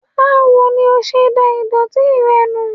Báwo ní ọ ṣe dá ìdòtí rẹ nù?